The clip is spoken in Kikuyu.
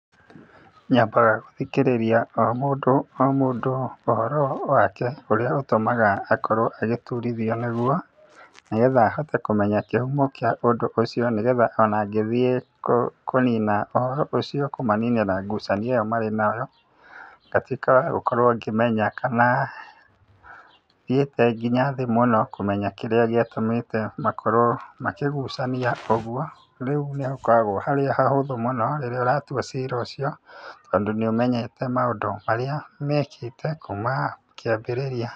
Nyambaga gũthikĩrĩria o mũndũ o mũndũ ũhoro wake ũrĩa ũtũmaga akorwo agĩturithio nĩguo, nĩgetha hote kũmenya kĩhumo kĩa ũndũ ũcio, nĩgetha ona ngĩthiĩ kũnina ũhoro ũcio, kũmaninĩra ngucanio ĩyo marĩ nayo, ngatuĩka wa gũkorwo ngĩmenya, kana thiĩte nginya thĩ mũno kũmenya kĩrĩa gĩatũmĩte makorwo makĩgucania ũguo. Rĩu nĩ hakoragwo harĩ hahũthũ mũno, rĩrĩa ũratua cira ũcio, tondũ nĩ ũmenyete maũndũ marĩa mekĩte kuuma kĩambĩrĩria.